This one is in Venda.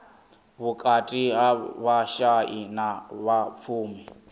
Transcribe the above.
vhukati ha vhashai na vhapfumi